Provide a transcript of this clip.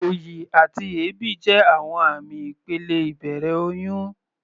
Òyì àti èébì jẹ́ àwọn àmì ìpele ìbẹ̀rẹ̀ oyún.